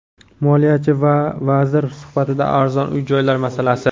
Moliyachi va vazir suhbatida arzon uy-joylar masalasi.